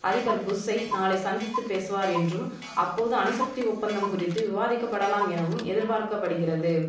அதிபர் புஷ்ஷை நாளை சந்தித்து பேசுவார் என்றும் அப்போது அணுசக்தி ஒப்பந்தம் குறித்து விவாதிக்கபடலாம் எனவும் எதிர்பார்க்கபடிகிறது